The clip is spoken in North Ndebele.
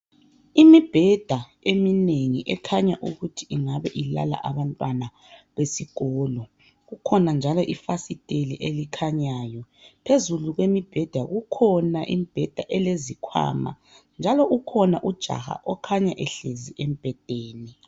Imibheda eminengi ekhanya ukuthi ingabe ilala abantwana besikolo. Kukhona njalo ifasiteli elikhanyayo. Phezulu kwemibheda kukhona imibheda elezikhwama njalo kukhona ujaha okhanya ehlezi embhedeni.